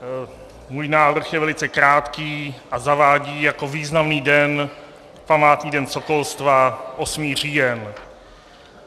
Můj návrh je velice krátký a zavádí jako významný den, Památný den sokolstva, 8. říjen.